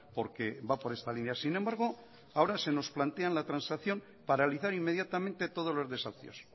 porque va por esta línea sin embargo ahora se nos plantea la transacción paralizar inmediatamente todos los desahucios